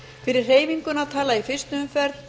fyrir hreyfinguna tala í fyrstu umferð